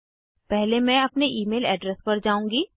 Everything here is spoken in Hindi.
पहले मैं अपने ईमेल एड्रेस पर जाउंगी